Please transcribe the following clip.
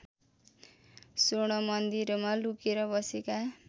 स्वर्णमन्दिरमा लुकेर बसेका